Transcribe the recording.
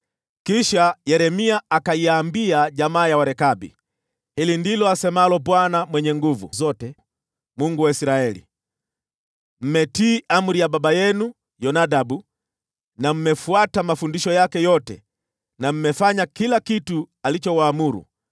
Kisha Yeremia akaiambia jamaa ya Warekabi, “Hili ndilo asemalo Bwana Mwenye Nguvu Zote, Mungu wa Israeli: ‘Mmetii amri ya baba yenu Yonadabu, na mmefuata mafundisho yake yote na mmefanya kila kitu alichowaamuru.’